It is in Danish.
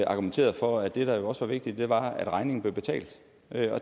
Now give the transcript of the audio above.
argumenteret for at det der jo også var vigtigt var at regningen blev betalt